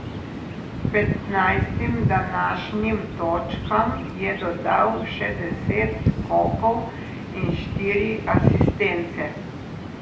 Petnajstim današnjim točkam je dodal še deset skokov in štiri asistence.